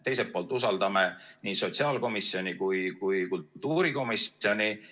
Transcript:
Teiselt poolt usaldame nii sotsiaalkomisjoni kui ka kultuurikomisjoni.